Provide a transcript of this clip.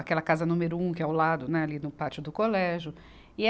aquela casa número um, que é ao lado, né, ali no pátio do colégio. e